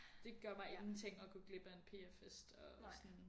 Det gør mig ingenting at gå glip af en pf fest og sådan